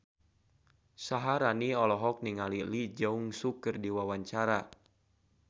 Syaharani olohok ningali Lee Jeong Suk keur diwawancara